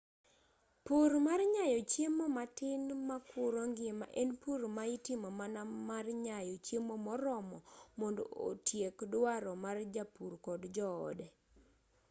pur mar nyayo chiemo matin makuro ngima en pur ma itimo mana mar nyayo chiemo moromo mondo otiek duaro mar japur kod joode